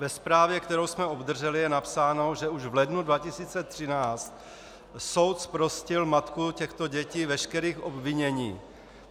Ve zprávě, kterou jsme obdrželi, je napsáno, že už v lednu 2013 soud zprostil matku těchto dětí veškerých obvinění.